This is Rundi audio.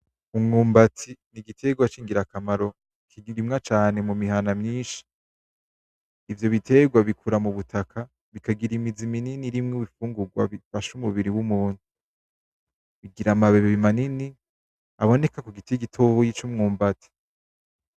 Umwumbati nigiterwa cingirakamaro kikirimwa cane mumihana myinshi, ivyo biterwa bikura cane mubutaka bikagira imizi minini irimwo ibifungurwa bifasha umubiri wumuntu, bigira amababi manini abonelka kugiti gitoya cumwumbati.